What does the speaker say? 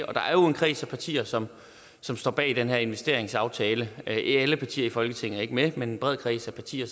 der er jo en kreds af partier som som står bag den her investeringsaftale ikke alle partier i folketinget er med men en bred kreds af partier